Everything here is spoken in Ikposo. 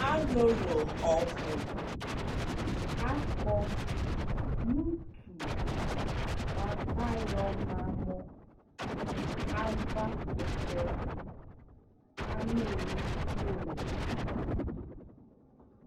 alʋlʋ ɔbʋ akɔ nʋ ʋtʋ bʋakʋ ayɔ ma mʋ aɣa kʋtɛ, anʋli piɔɔ